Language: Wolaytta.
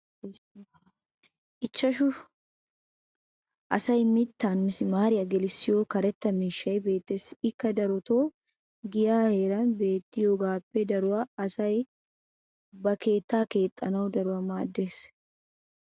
ichchashu asay mitan misimaariya gelissiyo karetta miishshay beetees. ikka darotoo giyaa heeran beettiyoogaappe daruwa asay ba keettaa keexxanawu daruwa maadees.